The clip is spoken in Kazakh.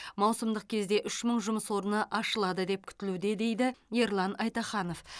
маусымдық кезде үш мың жұмыс орны ашылады деп күтілуде дейді ерлан айтаханов